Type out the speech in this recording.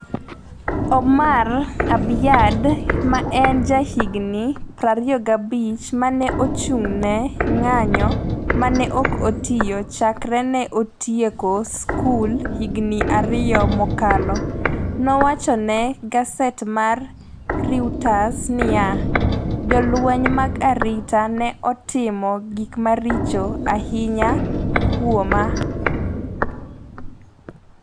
Omar Abyad, ma en ja higni 25 ma ne ochung’ ne ng’anjo ma ne ok otiyo chakre ne otieko skul higni ariyo mokalo, nowacho ne gaset mar Reuters niya: “Jolweny mag arita ne otimo gik maricho ahinya kuomwa.